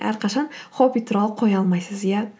әрқашан хобби туралы қоя алмайсыз иә